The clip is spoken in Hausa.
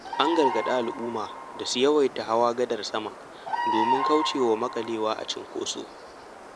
An gargaɗi al'umma da su yawaita hawa gadar sama domin kaucewa maƙalewa a cikin cunkoso.